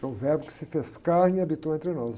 É um verbo que se fez carne e habitou entre nós.